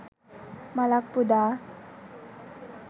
මලක් පුදා